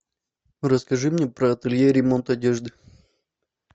расскажи мне про ателье ремонт одежды